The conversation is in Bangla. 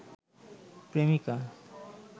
প্রেমিকা